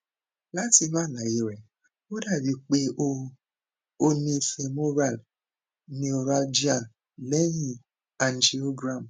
lati inu alaye re o dabi pe o o ni femoral neuralgia lehin angiogram